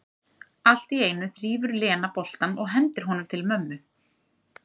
Allt í einu þrífur Lena boltann og hendir honum til mömmu.